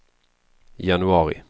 januari